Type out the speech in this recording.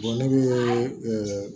ne bɛ